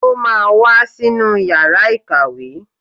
Ó máa wá sínú yàrá ìkàwé